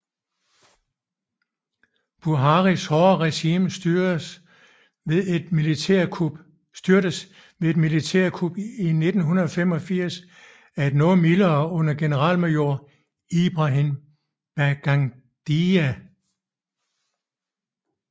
Buharis hårde regime styrtedes ved et militærkup i 1985 af et noget mildere under generalmajor Ibrahim Babangida